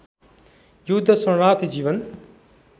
युद्ध शरणार्थी जीवन